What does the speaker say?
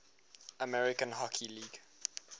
american hockey league